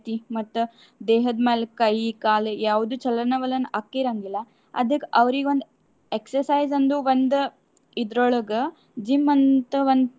ಮತ್ತ ದೇಹದ ಮ್ಯಾಲ ಕೈ, ಕಾಲು, ಯಾವುದು ಚಲನ ವಲನ ಆಕ್ಕಿರಾಂಗಿಲ್ಲಾ. ಅದಕ್ ಅವ್ರಿಗೊಂದ್ exercise ಅಂದ್ರು ಒಂದ್ ಇದ್ರೋಳಗ gym ಅಂತ ಒಂದ್.